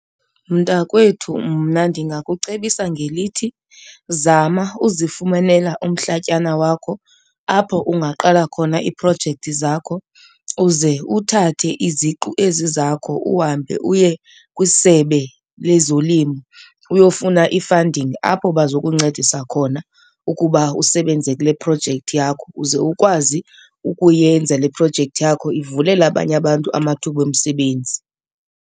Mntakwethu, mna ndingakucebisa ngelithi zama uzifumanela umhlatyana wakho apho ungaqala khona iiprojekthi zakho uze uthathe iziqu ezi zakho uhambe uye kwiSebe lezoLimo uyofuna i-funding. Apho bazokuncedisa khona ukuba usebenze kule projekthi yakho uze ukwazi ukuyenza le projekthi yakho ivulele abanye abantu amathuba omsebenzi.